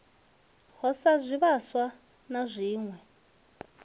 ho sa zwivhaswa na zwiwe